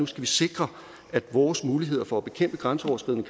skal sikre at vores muligheder for at bekæmpe grænseoverskridende